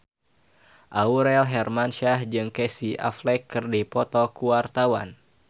Aurel Hermansyah jeung Casey Affleck keur dipoto ku wartawan